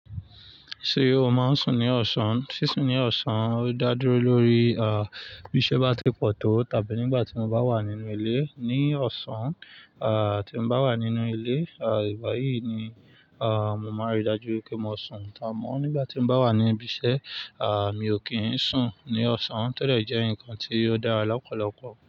Ṣé o máa ń sùn ní ọ̀sán? Sí sùn ní ọ̀sán, ó dá dúró lórí, ah, bí iṣẹ́ bá ti pọ̀ tó tàbí nígbà tí mo bá wà nínú ilé ní ọ̀sán, ah, tí mo bá wà nínú ilé, ah, ìgbà yìí ni, ah, mo máa rí i dájú pé mo sùn. Amó, nígbà tí mo bá wà ní ibiṣẹ́, ah, mi ò kí ń sùn ní ọ̀sán tẹ́lẹ̀ jẹ́ nǹkan tí ó dára lọ́pọ̀lọpọ̀.